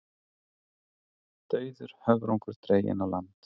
Dauður höfrungur dreginn á land